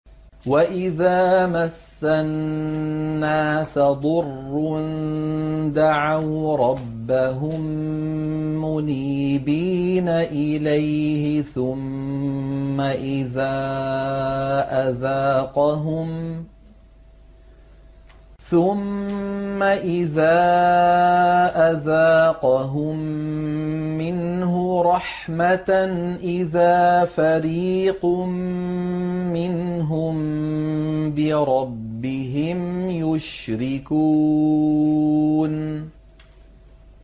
وَإِذَا مَسَّ النَّاسَ ضُرٌّ دَعَوْا رَبَّهُم مُّنِيبِينَ إِلَيْهِ ثُمَّ إِذَا أَذَاقَهُم مِّنْهُ رَحْمَةً إِذَا فَرِيقٌ مِّنْهُم بِرَبِّهِمْ يُشْرِكُونَ